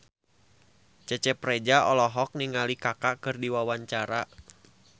Cecep Reza olohok ningali Kaka keur diwawancara